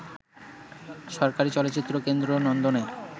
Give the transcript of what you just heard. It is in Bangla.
সরকারি চলচ্চিত্র কেন্দ্র নন্দনে